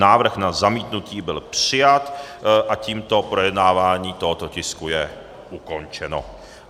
Návrh na zamítnutí byl přijat a tímto projednávání tohoto tisku je ukončeno.